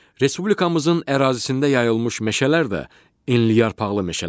Respublikamızın ərazisində yayılmış meşələr də enliyarpaqlı meşələrdir.